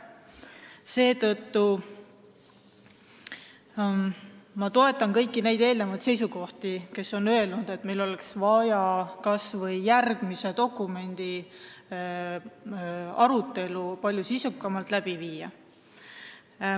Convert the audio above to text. Seetõttu ma toetan kõiki neid eelnevaid kõnelejaid, kes on öelnud, et meil oleks vaja kas või järgmise sellise dokumendi arutelu palju sisukamalt läbi viia.